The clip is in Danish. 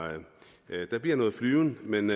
der bliver noget flyvning men